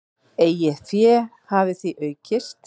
Eigið fé hafi því aukist.